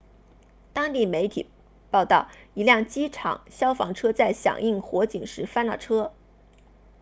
当地媒体报道一辆机场消防车在响应火警时翻了车